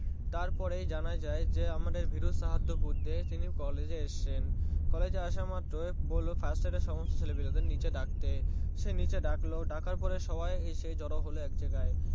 তারপরেই জানা যায় যে আমাদের ভীরু সাহাদ্দ বুড্ডে তিনি College এ এসেছেন College এ আসা মাত্রই বললো ফাটে নিচে ডাকতে সে নিচে ডাকলো ডাকার পরে সবাই এসে জোর হলো আকাইগি